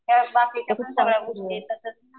त्यात बाकीच्या पण गोष्टी येतात.